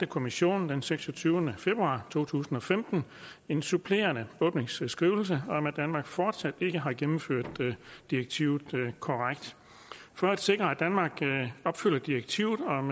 kommissionen den seksogtyvende februar to tusind og femten en supplerende åbningsskrivelse om at danmark fortsat ikke har gennemført direktivet korrekt for at sikre at danmark opfylder direktivet om